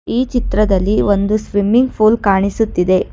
ಈ ಚಿತ್ರದಲ್ಲಿ ಒಂದು ಸ್ವಿಮ್ಮಿಂಗ್ ಪೂಲ್ ಕಾಣಿಸುತ್ತಿದೆ.